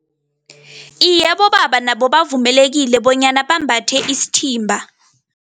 Iye, abobaba nabo bavumelekile bonyana bambathe isithimba.